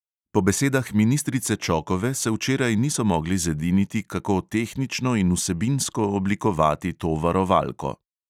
Po besedah ministrice čokove se včeraj niso mogli zediniti, kako tehnično in vsebinsko oblikovati to varovalko.